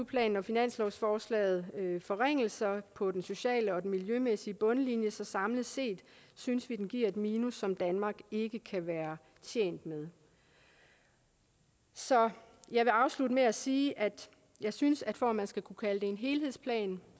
planen og finanslovsforslaget forringelser på den sociale og den miljømæssige bundlinje så samlet set synes vi den giver et minus som danmark ikke kan være tjent med så jeg vil afslutte med at sige at jeg synes at for at man skal kunne kalde det en helhedsplan